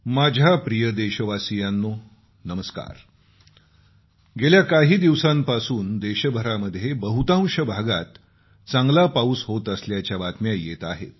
माझ्या प्रिय देशवासियांनो नमस्कार गेल्या काही दिवसांपासून देशभरामध्ये बहुतांश भागात चांगला पाऊस होत असल्याच्या बातम्या येत आहेत